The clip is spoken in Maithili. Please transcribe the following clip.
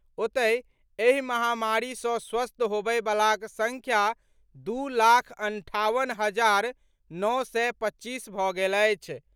ओतहि, एहि महामारी सँ स्वस्थ होबय बलाक संख्या दू लाख अंठावन हजार नओ सय पच्चीस भऽ गेल अछि।